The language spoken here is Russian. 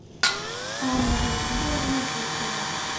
анна владимировна зыкова